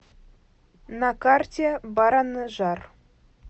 на карте баранжар